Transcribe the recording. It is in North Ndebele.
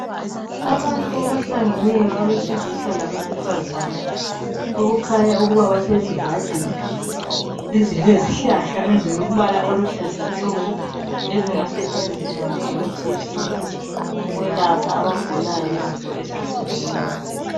Abantu abahlangeneyo abesilisa labesifazane okukhanya ukuba basesivandeni esilezihlahla ezilombala oluhlaza tshoko lezingasetshenziswa njengemithi yesintu ukwelapha abagulayo izifo ezehlukeneyo.